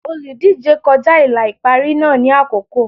Olùdíje kọjá ìlà ìparí náà ní àkókò.